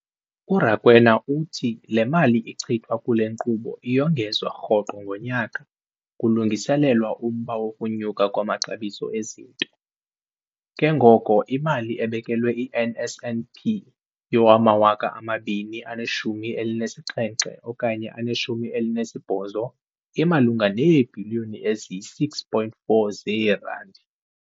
URakwena uthi le mali ichithwa kule nkqubo iyongezwa rhoqo ngonyaka kulungiselelwa umba wokunyuka kwamaxabiso ezinto, ke ngoko imali ebekelwe i-NSNP yowama-2017 okanye 18 imalunga neebhiliyoni eziyi-6.4 zeerandi.